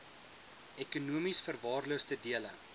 ekonomies verwaarloosde dele